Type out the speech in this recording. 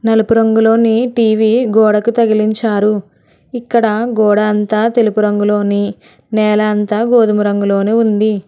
నలుపు రంగులోనీ టీవీ గోడకి తగిలించారు ఇక్కడ గోడ అంతా తెలుపు రంగులోనీ నేల అంతా గోధుమ రంగులోనీ ఉంది.